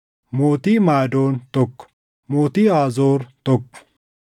mootii Maadoon, tokko mootii Haazoor, tokko